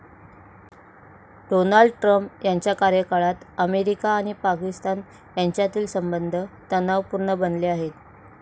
Donald Trump यांच्या कार्यकाळात America आणि पाकिस्तान यांच्यातील संबध तणावपूर्ण बनले आहेत.